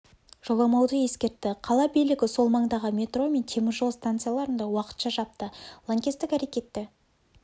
жоламауды ескертті қала билігі сол маңдағы метро мен теміржол станцияларын да уақытша жапты лаңкестік әрекетті